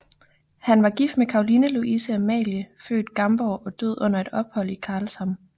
Han var gift med Caroline Louise Amalie født Gamborg og døde under et ophold i Karlshamn